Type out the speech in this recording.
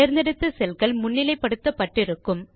தேந்தெடுத்த cell கள் முன்னிலை படுத்தப்பட்டு இருக்கும்